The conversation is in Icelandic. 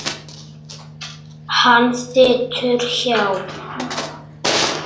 Hann situr hjá